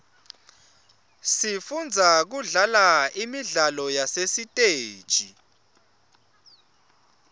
sifundza kudlala imidlalo yasesiteji